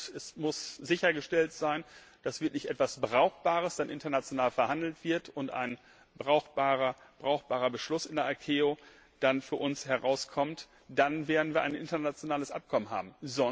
Es muss sichergestellt sein, dass dann wirklich etwas Brauchbares international verhandelt wird und ein brauchbarer Beschluss in der ICAO für uns herauskommt, dann werden wir ein internationales Abkommen haben.